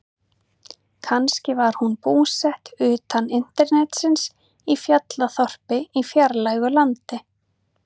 Kannski var hún búsett utan internetsins, í fjallaþorpi í fjarlægu landi.